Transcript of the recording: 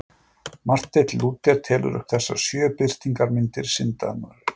Marteinn Lúther telur upp þessar sjö birtingarmyndir syndarinnar.